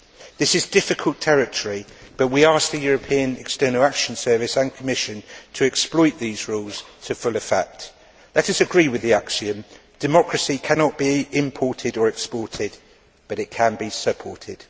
This is difficult territory, but we asked the European External Action Service and Commission to exploit these rules to full effect. Let us agree with the axiom, democracy cannot be imported or exported, but it can be supported'.